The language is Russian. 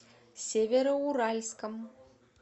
североуральском